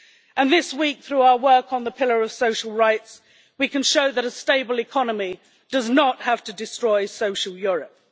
And this week, through our work on the pillar of social rights, we can show that a stable economy does not have to destroy Social Europe.